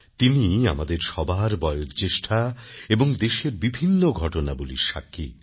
তিনি আমাদের সবার বয়োজ্যেষ্ঠা এবং দেশের বিভিন্ন ঘটনাবলীর সাক্ষী